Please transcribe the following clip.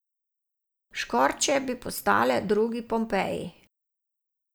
Škorče bi postale drugi Pompeji.